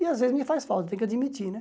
E às vezes me faz falta, tenho que admitir, né?